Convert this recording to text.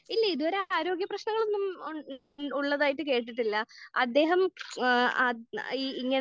ഇല്ല. ഇത് വരെ ആരോഗ്യ പ്രശ്നങ്ങളൊന്നും ഉള്ളതായിട്ട് കേട്ടിട്ടില്ല. അദ്ദേഹം ഏഹ് ആഹ് ഇങ്ങനെ